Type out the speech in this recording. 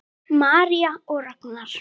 María og Ragnar.